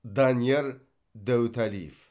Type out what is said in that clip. данияр дәуіталиев